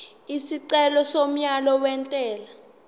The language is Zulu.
isicelo somyalo wentela